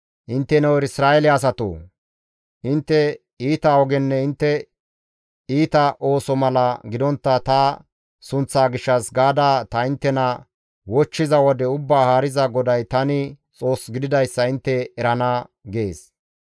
Intteno Isra7eele asatoo! Intte iita ogenne intte iita ooso mala gidontta ta sunththaa gishshas gaada ta inttena wochchiza wode Ubbaa Haariza GODAY tani Xoos gididayssa intte erana» gees.